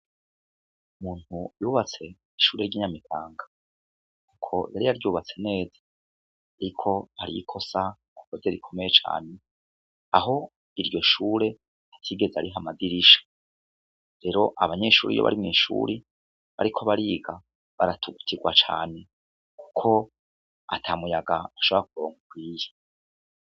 Umuntu yubatse ishure ry'i Nyamitanga, yari yaryubatse neza ariko hari ikosa yakoze rikomeye cane, aho iryo shure atigeze ariha amadirisha, rero, abanyeshure iyo bari mw'ishuri, bariko bariga, baratugutigwa cane kuko ata muyaga ushobora kuronka ukwiye.